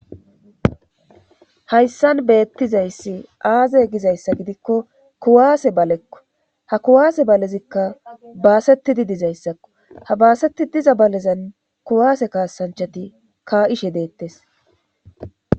hayssan beettizayssi aaze gizayssa gidikko kuwaase balekko ha kuwaase balezikka baasetidi dizayssakko ha baaseti diza balezan kuwaase kaasanchati ka ishe deettes